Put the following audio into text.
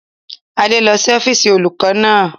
Adé lọ sí ọ́fíìsì olùkọ́ náà